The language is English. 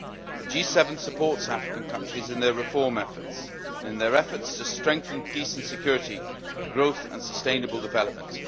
The G7 supports African countries in their reform efforts and in their efforts to strengthen peace and security, growth and sustainable development.